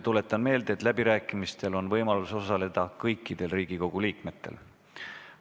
Tuletan meelde, et läbirääkimistel on võimalik osaleda kõikidel Riigikogu liikmetel.